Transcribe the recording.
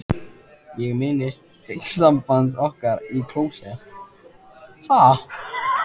Ég minnist augnsambands okkar í klósett